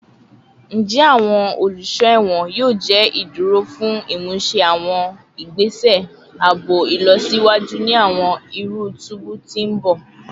Njẹ awọn oluso ẹwọn yoo jẹ iduro fun imuse awọn igbese aabo ilọsiwaju ni awọn iru tubu ti n bọ?